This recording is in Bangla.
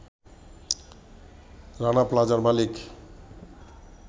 রানা প্লাজা’র মালিক